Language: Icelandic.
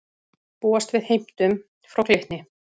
Búast við heimtum frá Glitni